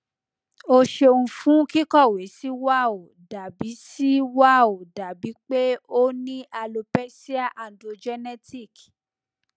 o ṣeun fun kikọwe si wa o dabi si wao dabi pe o ni alopecia androgenetic